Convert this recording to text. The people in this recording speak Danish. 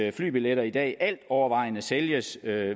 at flybilletter i dag altovervejende sælges